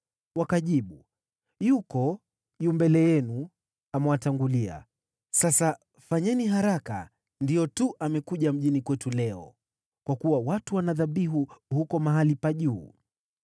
Wakajibu, “Yuko, yu mbele yenu amewatangulia, sasa fanyeni haraka, ndiyo tu amekuja mjini kwetu leo, kwa kuwa watu wana dhabihu huko mahali pa juu.